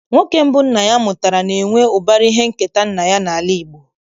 Nwoke mbụ nna ya mụtara na-enwe ụbara ihe nketa nna ya n'ala Igbo.